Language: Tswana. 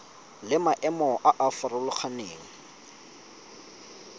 le maemo a a farologaneng